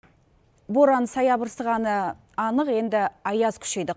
боран саябырсығаны анық енді аяз күшейді